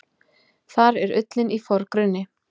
Þar er ullin í forgrunni.